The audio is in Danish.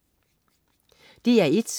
DR1: